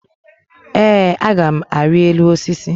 Ee, a gam ari elu osisi